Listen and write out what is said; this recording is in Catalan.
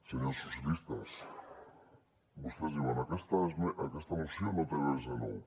senyors socialistes vostès diuen aquesta moció no té res de nou